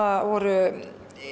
voru